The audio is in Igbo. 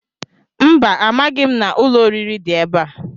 Mba, amaghị m na ụlọ oriri dị ebe a.